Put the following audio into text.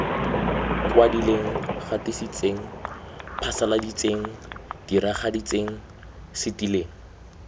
kwadileng gatisitseng phasaladitseng diragaditseng setileng